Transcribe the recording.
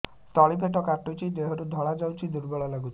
ତଳି ପେଟ କାଟୁଚି ଦେହରୁ ଧଳା ଯାଉଛି ଦୁର୍ବଳ ଲାଗୁଛି